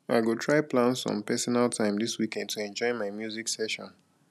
i go try plan some personal time this weekend to enjoy my music session